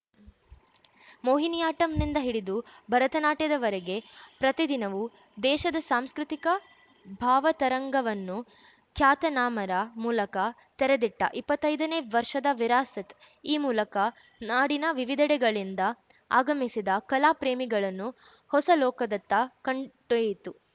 ಮೋಹಿನಿಯಾಟ್ಟಂನಿಂದ ಹಿಡಿದು ಭರತನಾಟ್ಯದವರೆಗೆ ಪ್ರತಿದಿನವೂ ದೇಶದ ಸಾಂಸ್ಕೃತಿಕ ಭಾವತರಂಗವನ್ನು ಖ್ಯಾತನಾಮರ ಮೂಲಕ ತೆರೆದಿಟ್ಟಇಪ್ಪತ್ತೈದನೇ ವರ್ಷದ ವಿರಾಸತ್‌ ಈ ಮೂಲಕ ನಾಡಿನ ವಿವಿಧೆಡೆಗಳಿಂದ ಆಗಮಿಸಿದ ಕಲಾ ಪ್ರೇಮಿಗಳನ್ನು ಹೊಸ ಲೋಕದತ್ತ ಕಂಟೊಯ್ಯಿತು